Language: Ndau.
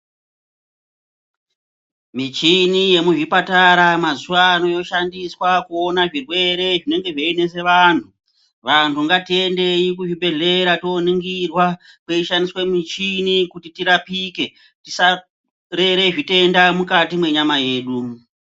Michini yemuzvipatara mazuva ano yoshandiswa kuona zvirwere zvinenge zveinetse vantu. Vantu ngatiende kuzvibhedhlera tooningirwa kweishandiswa michini, kuti tirapike, tisarere zvitenda mukati menyama yedu.